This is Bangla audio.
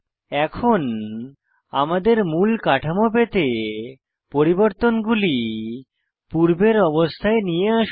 এখন আমাদের মূল কাঠামো পেতে পরিবর্তনগুলি পূর্বের অবস্থায় নিয়ে আসুন